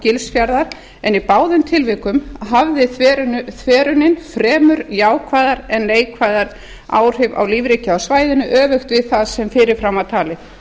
gilsfjarðar en í báðum tilvikum hafði þverunin fremur jákvæð en neikvæð áhrif á lífríki á svæðinu öfugt við það sem fyrir fram var talið